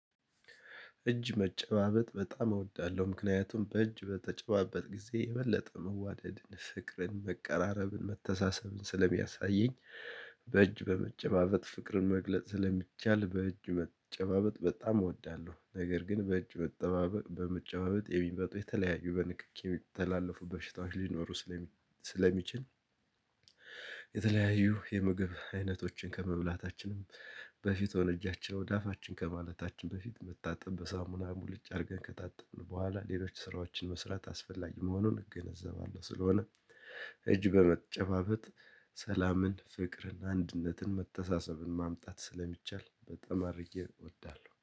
እጅ መጨባበጥ በጣም እወዳለሁ ምክንያቱም በእጅ በተጨባበጥህ ጊዜ የበለጠ መዋደድን ፍቅርን መቃራረብን መተሳሰብን ስለሚያሳየኝ። በእጅ በመጨባበጥ ፍቅርን መግለጽ ስለሚቻል በእጅ መጨባበት በጣም እወዳለሁ። ነገር ግን በእጅ መጠባበቅ በመጨባበት የሚመጡ የተለያዩ በንክኪ የሚተላለፉ በሽታዎች ሊኖሩ ስለሚችል። የተለያዩ የምግብ አይነቶችን ከመብላታችንም በፊት ሆነ እጃቸው ወደ አፋችን ከማለታችን በፊት መታጠብ በሳሙና ሙሉጭ አድርገን ከጣጥን በኋላ ሌሎች ስራዎችን መስራት አስፈላጊ መሆኑን እገነዘባለሁ። ስለሆነም እጅ በመጨባበጥ ሰላምን ፍቅርን አንድነትን መተሳሰብን ማምጣት ስለሚቻል በጣም አድርጌ እወዳለሁ